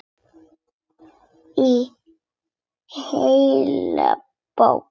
Í heilli bók.